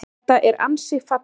Þetta er ansi falleg mynd.